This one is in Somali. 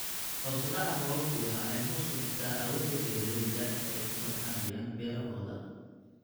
Hoos u dhaca roobabku waxa ay hoos u dhigtaa awoodda beeralayda ee ay ku tacbanayaan beerahooda.